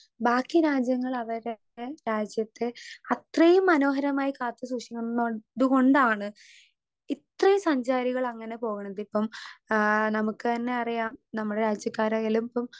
Speaker 2 ബാക്കി രാജ്യങ്ങളവരേ രാജ്യത്തെ അത്രയും മനോഹരമായി കാത്ത് സൂക്ഷിക്കുന്നോ ഇത് കൊണ്ടാണ് ഇത്രയും സഞ്ചാരികളങ്ങനെ പോക്ണതിപ്പം ഏ നമുക്കന്നറിയാം നമ്മളെ രാജ്യക്കാരായാലുപ്പം.